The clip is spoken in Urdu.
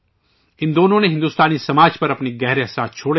ان دونوں نے بھارتی سماج پر گہرا اثر چھوڑا ہے